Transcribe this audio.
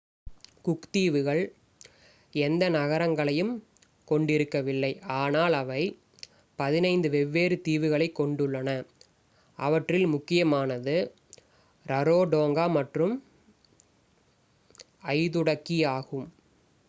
cook தீவுகள் எந்த நகரங்களையும் கொண்டிருக்கவில்லை ஆனால் அவை 15 வெவ்வேறு தீவுகளைக் கொண்டுள்ளன அவற்றில் முக்கியமானது ரரோடோங்கா மற்றும் ஐதுடகி ஆகும்